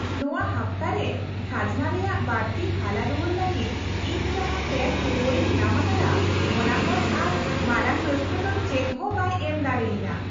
ᱱᱚᱶᱟ ᱦᱟᱯᱛᱟᱨᱮ ᱠᱷᱟᱡᱽᱱᱟ ᱨᱮᱭᱟᱜ ᱵᱟᱹᱲᱛᱤ ᱦᱟᱞᱟᱼᱨᱩᱣᱟᱹᱲ ᱞᱟᱹᱜᱤᱫ ᱤᱧ ᱡᱟᱦᱟᱸ ᱴᱮᱹᱠᱥ ᱨᱩᱣᱟᱹᱲᱤᱧ ᱧᱟᱢ ᱟᱠᱟᱫᱟ ᱚᱱᱟ ᱠᱷᱚᱱ ᱟᱨ ᱢᱟᱨᱟᱝ ᱨᱟᱹᱥᱠᱟᱹ ᱫᱚ ᱪᱮᱫᱦᱚᱸ ᱵᱟᱭ ᱮᱢ ᱫᱟᱲᱮᱭᱟᱹᱧᱟᱹ ᱾